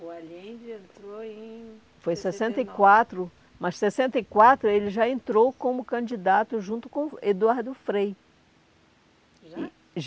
O Allende entrou em... Foi em sessenta e quatro, mas em sessenta e quatro ele já entrou como candidato junto com Eduardo Frei. Já?